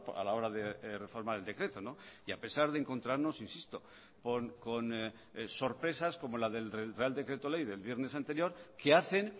a la hora de reformar el decreto y a pesar de encontrarnos insisto con sorpresas como la del real decreto ley del viernes anterior que hacen